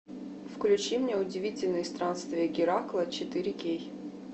включи мне удивительные странствия геракла четыре кей